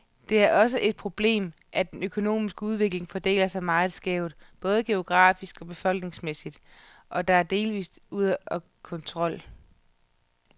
Det er også et problemet, at den økonomiske udvikling fordeler sig meget skævt, både geografisk og befolkningsmæssigt, og er delvist ude af kontrol.